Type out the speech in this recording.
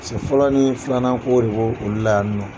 fɔlɔ ni filanan ko de b'o olu la yan nɔ.